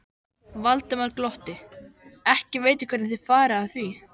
Valdimar glotti: Ekki veit ég hvernig þið farið að því.